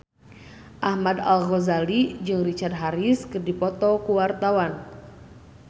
Ahmad Al-Ghazali jeung Richard Harris keur dipoto ku wartawan